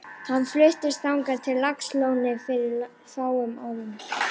Hann fluttist þangað frá Laxalóni fyrir fáum árum.